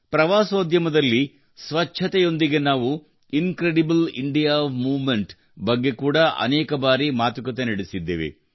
ಪ್ರವಾಸೋದ್ಯದಲ್ಲಿ ಸ್ವಚ್ಛತೆಯೊಂದಿಗೆ ನಾವು incredible India movement ಬಗ್ಗೆ ಕೂಡಾ ಅನೇಕ ಬಾರಿ ಮಾತುಕತೆ ನಡೆಸಿದ್ದೇವೆ